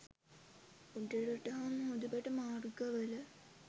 උඩරට හා මුහුදුබඩ මාර්ගවල